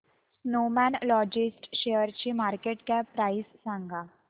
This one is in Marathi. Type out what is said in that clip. स्नोमॅन लॉजिस्ट शेअरची मार्केट कॅप प्राइस सांगा